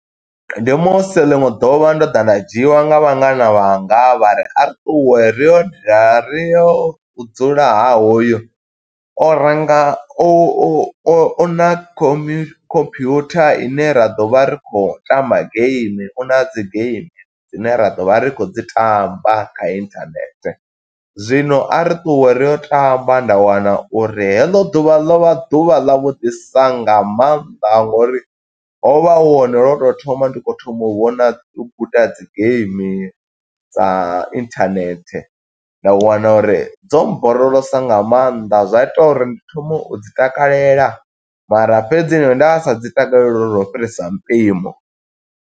Ndi musi ḽiṅwe ḓuvha ndo ḓa nda dzhiwa nga vhangana vhanga, vha ri a ri ṱuwe ri yo dala ri yo u dzula ha hoyu. O renga u u una commu computer ine ra ḓovha ri khou tamba game u na dzi geimi dzine ra ḓovha ri khou dzi tamba kha internet, zwino a ri ṱuwe ri yo tamba. Nda wana uri he ḽo ḓuvha ḽo vha ḓuvha ḽa vhuḓisa nga maanḓa ngo uri hovha hu hone lwo to thoma ndi kho thoma u vhona, u guda dzi game dza internet, nda wana uri dzo muborolosa nga maanḓa, zwa ita uri ndi thome u dzi takalela mara fhedzi nda sa dzi takaleli lwo fhirisa mupimo.